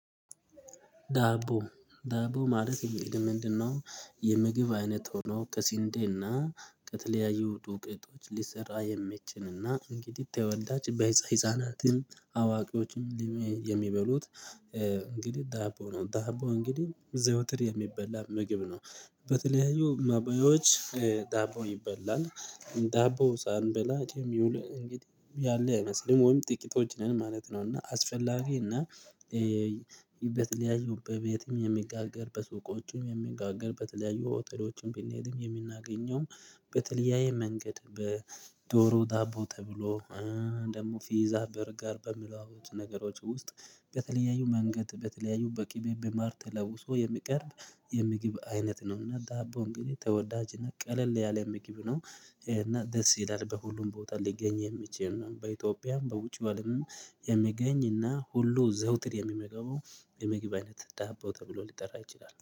ዳቦ ዳቦ ማለት እንግዲህ ምንድነው? የምግብ አይነት ሆኖ ከስንዴና ከተለያዩ ዱቄቶች ሊሰራ የሚችልና እንግዲህ ተወዳጅ ህፃናትም አዋቂዎችም የሚበሉት እንግዲህ ዳቦ ነው። ዳቦ እንግዲህ ዘውትር የሚበላ ምግብ ነው። በተለያዩ መበያዎች ዳቦ ይበላል ዳቦ ሳንበላ የሚውል ያለ አይመስልም ወይም ጥቂቶች ነን ማለት ነው። እና አስፈላጊ እና በተለያዩ በቤትም የሚጋገር በሱቆችም የሚጋገር በተለያዩ ሆቴሎችም ቢንሄድም የምናገኘውም በተለያየ መንገድ በዶሮ ዳቦ ተብሎ ደግሞ ፊዛ በርገር በሚባሉት ነገሮች ውስጥ በተለያዩ መንገድ በተለያዩ በቂ በማር ተለውሶ የሚቀርብ የምግብ አይነት ነው። እና ዳቦ እንግዲህ ተወዳጅ እና ቀለል ያለ ምግብ ነው። እና ደስ ይላል በሁሉም ቦታ ሊገኝ የሚችል ነው። በኢትዮጵያም በውጭ ባሉም የምገኝና ሁሉ ዘውትር የሚመገበው የምግብ አይነት ዳቦ ተብሎ ሊጠራ ይችላል